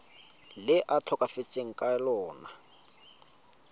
le a tlhokafetseng ka lona